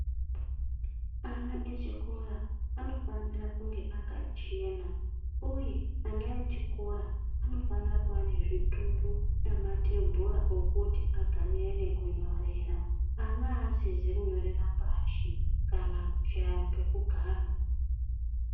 Ana echikora anofanira kunge akachena uye ana echikora anofana kuva nezvituru nematebhura kuti agarire nekunyorera .Ana havasizi kunyorera pashi kana kushaye pekugara .